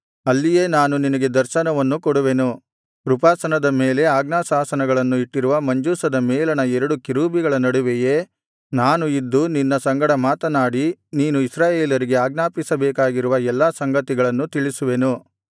ಅಲ್ಲಿಯೇ ನಾನು ನಿನಗೆ ದರ್ಶನವನ್ನು ಕೊಡುವೆನು ಕೃಪಾಸನದ ಮೇಲೆ ಆಜ್ಞಾಶಾಸನಗಳನ್ನು ಇಟ್ಟಿರುವ ಮಂಜೂಷದ ಮೇಲಣ ಎರಡು ಕೆರೂಬಿಗಳ ನಡುವೆಯೇ ನಾನು ಇದ್ದು ನಿನ್ನ ಸಂಗಡ ಮಾತನಾಡಿ ನೀನು ಇಸ್ರಾಯೇಲರಿಗೆ ಆಜ್ಞಾಪಿಸಬೇಕಾಗಿರುವ ಎಲ್ಲಾ ಸಂಗತಿಗಳನ್ನು ತಿಳಿಸುವೆನು